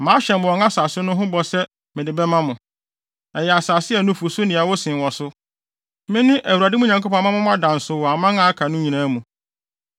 Mahyɛ mo wɔn asase no ho bɔ sɛ mede bɛma mo. Ɛyɛ asase a nufusu ne ɛwo sen wɔ so. Mene Awurade mo Nyankopɔn a mama mo ada nsow wɔ aman a aka no nyinaa mu.